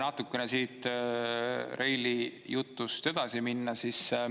Natukene siit Reili jutust edasi minna.